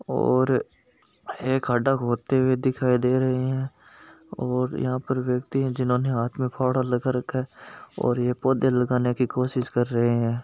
और एक खाडा खोदते दिखाई दे रहा है और यहा पर व्यक्ति है जिन्होंने हाथ में फावड़ा ले रखा है और यह पौधा लगाने में कोशिश कर रहा है।